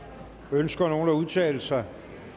ønsker nogen at udtale sig